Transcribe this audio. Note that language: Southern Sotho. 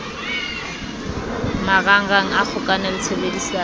marangrang a kgokano le tshebedisano